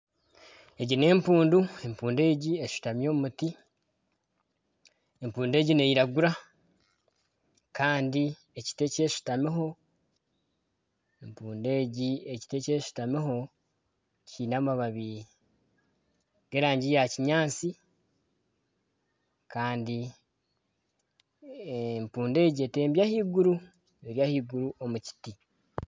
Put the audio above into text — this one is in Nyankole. Egi n'empundu empundu egi eshutami omu muti empundu egi n'eyiragura kandi ekiti eki eshutamiho kiine amababi g'erangi ya kinyaatsi kandi empundu egi etembire ahaiguru eri ahaiguru omu miti.